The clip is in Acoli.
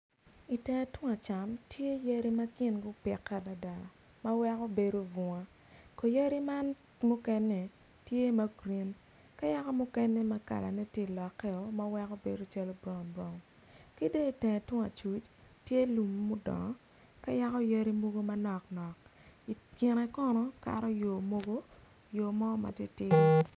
I tenge tung acam tye yadi ma gupike adada ma weko bedo bunga ko yadi man mukene tye ma grin ki mukene ma tye ka lokkeo ma weko bedo branbran ki dong i tenge tung acuc tye lum ma odongo ka yaka yadi manoknok i kine kono kato yo mogo yomo ma titidi.